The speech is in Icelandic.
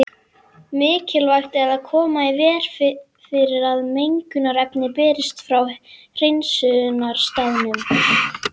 Mikilvægt er að koma í veg fyrir að mengunarefni berist frá hreinsunarstaðnum.